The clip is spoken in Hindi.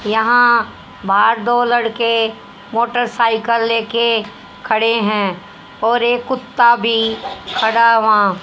यहां बाहर दो लड़के मोटरसाइकल लेके खड़े है और एक कुत्ता खड़ा है वहां।